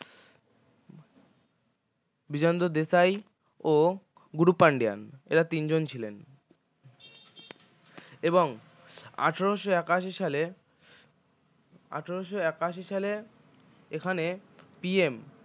বিজেন্দ্র দেশাই ও গুরু পান্ডিয়ান এঁরা তিন জন ছিলেন এবং আঠারোশো একাশি সালে আঠারোশো একাশি সালে এখানে PM